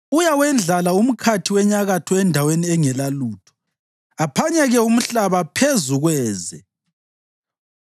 Uyawendlala umkhathi wenyakatho endaweni engelalutho; aphanyeke umhlaba phezu kweze.